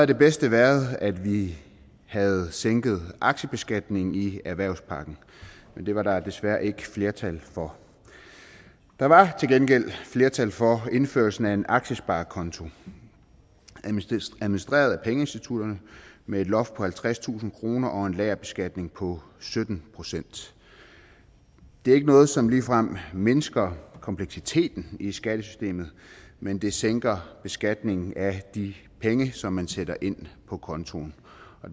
det bedste været at vi havde sænket aktiebeskatningen i erhvervspakken men det var der desværre ikke flertal for der var til gengæld flertal for indførelsen af en aktiesparekonto administreret af pengeinstitutterne med et loft på halvtredstusind kroner og en lagerbeskatning på sytten procent det er ikke noget som ligefrem mindsker kompleksiteten i skattesystemet men det sænker beskatningen af de penge som man sætter ind på kontoen